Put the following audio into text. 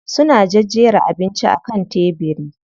Suna jejjera abincin a kan tebiri.